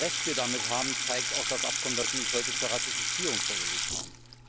Wie Recht wir damit haben, zeigt auch das Abkommen, das Sie uns heute zur Ratifizierung vorgelegt haben.